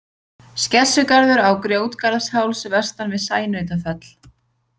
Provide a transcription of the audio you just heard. Skessugarður á Grjótgarðsháls vestan við Sænautafell.